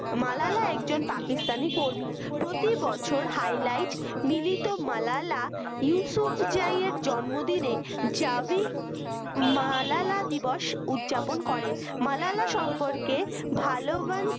মালালাএকজন পাকিস্তানী কর্মী প্রতিবছর highlight মিলিত মালালা ইউসুফজাইয়ের জন্মদিনে জাবি মালালা দিবস উদযাপন করে মালালা সম্পর্কে ভালবান